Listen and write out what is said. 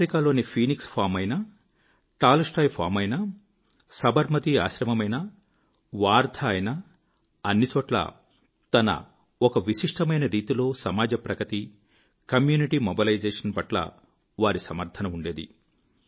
ఆఫ్రికాలోని Phoenix farm అయినా Tolstoy farm అయినా సబర్మతీ ఆశ్రమమైన వార్ధా అయినా అన్ని చోట్లా తన ఒక విశిష్టమైన రీతిలో సమాజ ప్రగతి కమ్యూనిటీ మొబెలైజేషన్ పట్ల వారి సమర్థన ఉండేది